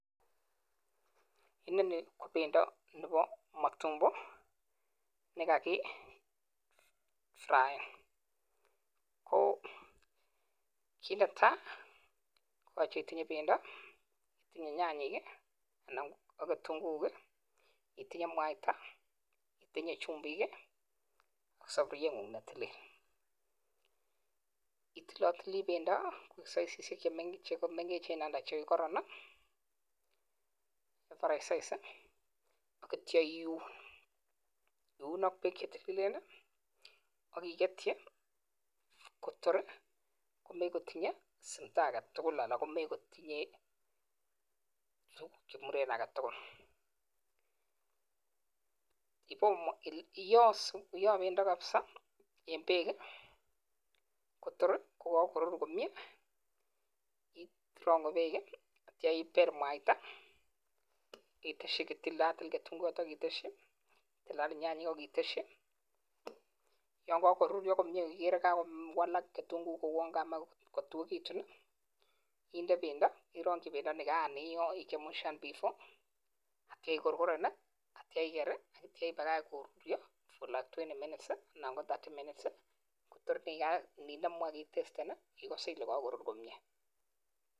Nini KO.pendo. nepo.(matumbo) nekakifraeen magat itinye. chumbik ,saburiet ,kounii tukchotok. tugul. pakotililitu komnyee ipel. mwaita iteshii kitunguiik AK nyanyeek akipurch Eng mat akichamcham kotko kakorur komnyeee